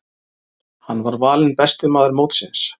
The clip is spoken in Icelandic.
Hann var valinn besti maður mótsins.